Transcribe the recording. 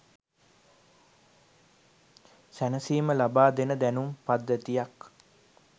සැනසීම ලබා දෙන දැනුම් පද්ධතියක්